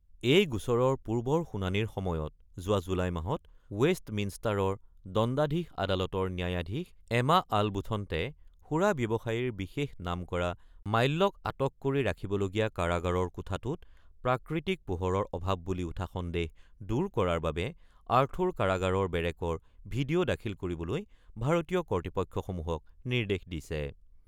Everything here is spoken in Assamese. এই গোচৰৰ পূৰ্বৰ শুনানিৰ সময়ত যোৱা জুলাই মাহত ৱেষ্টমিনষ্টাৰৰ দণ্ডাধীশ আদালতৰ ন্যায়াধীশ এমা আলবুথনতে সুৰা ব্যৱসায়ীৰ বিশেষ নাম কৰা মাল্যক আটক কৰি ৰাখিবলগীয়া কাৰাগাৰৰ কোঠাটোত প্ৰাকৃতিক পোহৰৰ অভাৱ বুলি উঠা সন্দেহ দূৰ কৰাৰ বাবে আৰ্থৰ কাৰাগাৰৰ বেৰেকৰ ভিডিঅ' দাখিল কৰিবলৈ ভাৰতীয় কৰ্তৃপক্ষসমূহক নিৰ্দেশ দিছে।